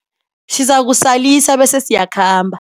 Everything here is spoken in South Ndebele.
Sizakusalisa bese siyakhamba.